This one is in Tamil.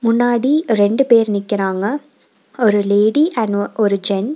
முன்னாடி ரெண்டு பேர் நிக்கறாங்க ஒரு லேடி அண்ட் அ ஒரு ஜென் .